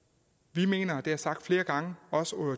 vi mener og det har jeg sagt flere gange også